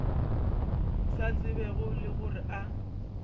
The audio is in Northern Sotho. sa tsebego le gore a